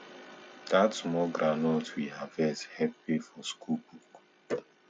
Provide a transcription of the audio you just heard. dat small groundnut we harvest help pay for school book